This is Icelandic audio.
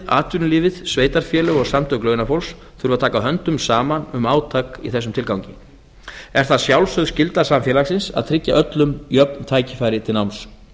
atvinnulífið sveitarfélög og samtök launafólks þurfi að taka höndum saman um átak í þessum tilgangi er það sjálfsögð skylda samfélagsins að tryggja öllum jöfn tækifæri til náms